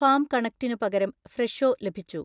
farm കണക്റ്റിനു പകരം ഫ്രെഷോ ലഭിച്ചു